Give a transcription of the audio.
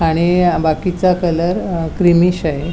आणि अ बाकीचा कलर अ क्रिमीश आहे.